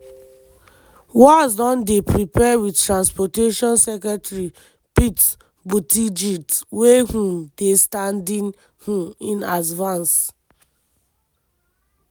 walz don dey prepare wit transportation secretary pete buttigieg wey um dey standing um in as vance.